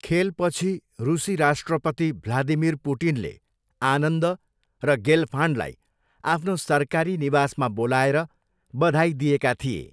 खेलपछि रुसी राष्ट्रपति भ्लादिमिर पुटिनले आनन्द र गेलफान्डलाई आफ्नो सरकारी निवासमा बोलाएर बधाई दिएका थिए।